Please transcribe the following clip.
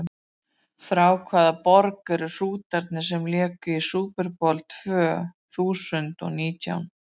Frá hvaða borg eru Hrútarnir sem léku í Super Bowl tvö þúsund og nítján?